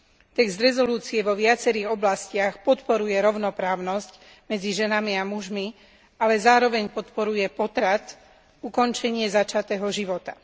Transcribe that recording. Text uznesenia vo viacerých oblastiach podporuje rovnoprávnosť medzi ženami a mužmi, ale zároveň podporuje potrat ukončenie začatého života.